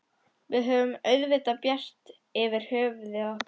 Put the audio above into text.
Við höfum auðvitað bjart yfir höfði okkar.